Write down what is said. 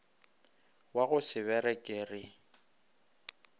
wa go se bereke re